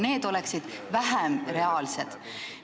Need on nagu vähem reaalsed.